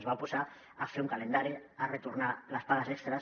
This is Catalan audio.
es van oposar a fer un calendari per retornar les pagues extres